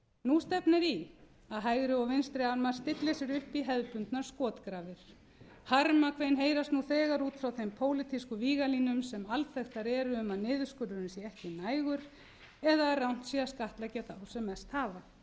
nú stefnir í að hægri og vinstri armar stilli sér upp í hefðbundnar skotgrafir harmakvein heyrast nú þegar út frá þeim pólitísku víglínum sem alþekktar eru um að niðurskurðurinn sé ekki nægur eða að rangt sé að skattleggja þá sem mest hafa